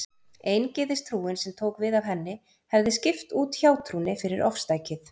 Eingyðistrúin, sem tók við af henni, hefði skipt út hjátrúnni fyrir ofstækið.